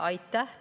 Aitäh!